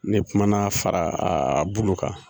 Ne kumana fara kan